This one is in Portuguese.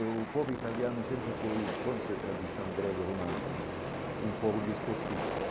E o povo italiano sempre foi bom em sua tradição grego-romana né, um povo de esportistas.